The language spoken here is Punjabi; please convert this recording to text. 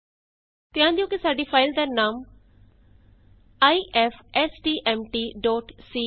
ਧਿਆਨ ਦਿਉ ਕਿ ਸਾਡੀ ਫਾਈਲ ਦਾ ਨਾਮ ਆਈਐਫਐਸਟੀਐਮਟੀ ਸੀ ifstmtਸੀ ਹੈ